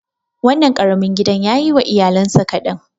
Wannan ƙarami gidan yayi wa iyalansa kaɗan.